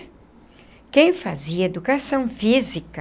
Quem fazia educação física